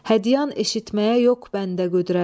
Hədyan eşitməyə yox bəndə qüdrət.